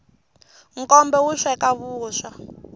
nkombe wu sweka vuswa